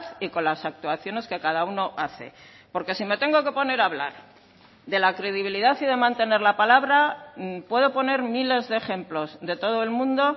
y con las actuaciones que cada uno hace porque si me tengo que poner a hablar de la credibilidad y de mantener la palabra puedo poner miles de ejemplos de todo el mundo